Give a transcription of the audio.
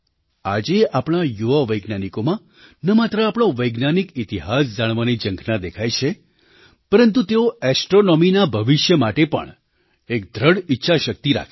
આજે આપણા યુવા વૈજ્ઞાનિકોમાં ન માત્ર આપણો વૈજ્ઞાનિક ઇતિહાસ જાણવાની ઝંખના દેખાય છે પરંતુ તેઓ ઍસ્ટ્રૉનૉમીના ભવિષ્ય માટે પણ એક દૃઢ ઈચ્છાશક્તિ રાખે છે